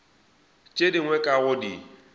tše dingwe ka go di